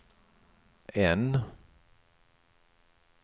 N